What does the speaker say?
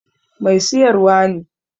Mai siyarwar ne.